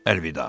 Ervida.